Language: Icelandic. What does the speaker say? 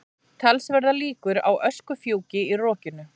Talsverðar líkur á öskufjúki í rokinu